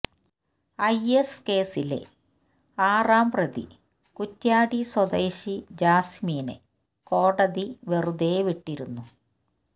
I S കേസിലെ ആറാംപ്രതി കുറ്റ്യാടി സ്വദേശി ജാസിമിനെ കോടതി വെറുതെവിട്ടിരുന്നു